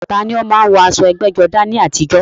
Ta ni ó máa ń wọ aṣọ ẹgbẹ́jọdá ní àtijọ́?